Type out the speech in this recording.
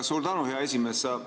Suur tänu, hea esimees!